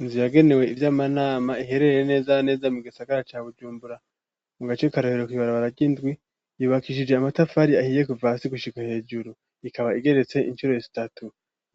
Inzu yagenewe ivyy'amanama iherereye neza neza mu gisagara ca bujumbura mu gace ka rohero kw'ibarabara ry'indwi ryubakishijwe amatafari ahiye kuva hasi gushika hejuru ikaba igeretse incuro zitatu